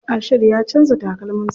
Ashiru ya canza takalmin sa.